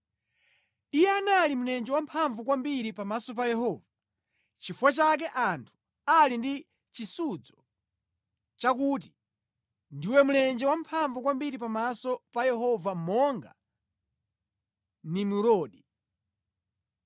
Iye anali mlenje wamphamvu kwambiri pamaso pa Yehova; nʼchifukwa chake anthu ali ndi chisudzo, chakuti, “Ndiwe mlenje wamphamvu kwambiri pamaso pa Yehova monga Nimurodi.”